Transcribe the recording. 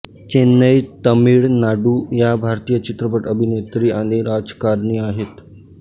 चेन्नई तमिळ नाडू या भारतीय चित्रपट अभिनेत्री आणि राजकारणी आहेत